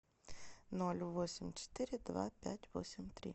ноль восемь четыре два пять восемь три